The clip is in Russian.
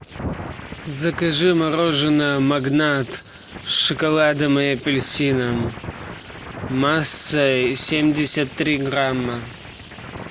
закажи мороженое магнат с шоколадом и апельсином массой семьдесят три грамма